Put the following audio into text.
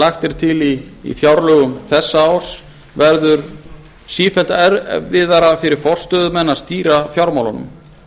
lagt er til í fjárlögum þessa árs verður sífellt erfiðara fyrir forstöðumenn að stýra fjármálunum